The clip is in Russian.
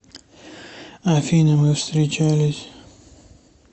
афина мы встречались